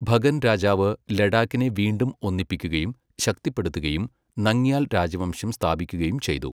ഭഗൻ രാജാവ്, ലഡാക്കിനെ വീണ്ടും ഒന്നിപ്പിക്കുകയും ശക്തിപ്പെടുത്തുകയും, നംഗ്യാൽ രാജവംശം സ്ഥാപിക്കുകയും ചെയ്തു.